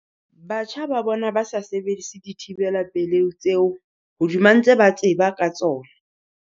Batjha ba bona ba sa sebedise dithibela pelehi tseo hodima ntse ba tseba ka tsona.